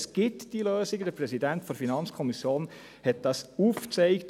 Es gibt diese Lösungen, der Präsident der FiKo hat diese aufgezeigt.